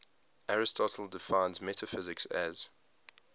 aristotle defines metaphysics as